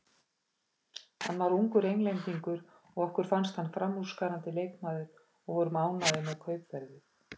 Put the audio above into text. Hann var ungur Englendingur og okkur fannst hann framúrskarandi leikmaður og vorum ánægðir með kaupverðið.